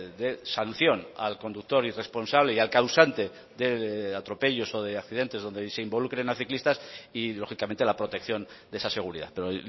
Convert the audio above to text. de sanción al conductor irresponsable y al causante de atropellos o de accidentes donde se involucren a ciclistas y lógicamente la protección de esa seguridad pero